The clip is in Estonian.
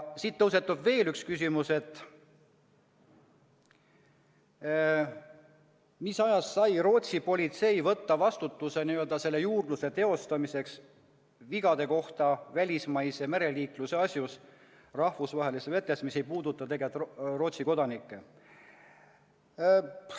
Siit tõusetub veel üks küsimus: kuidas sai Rootsi politsei võtta vastutuse teostada juurdlust vigade kohta välismaise mereliikluse asjus rahvusvahelistes vetes, mis ei puuduta tegelikult Rootsi kodanikke?